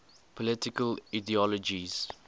political ideologies